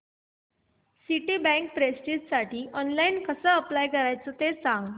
Citibank प्रेस्टिजसाठी online कसं apply करायचं ते सांग